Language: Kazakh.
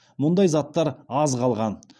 мұндай заттар аз қалған